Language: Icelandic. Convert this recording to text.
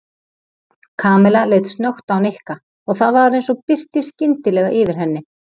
Kamilla leit snöggt á Nikka og það var eins og birti skyndilega yfir henni.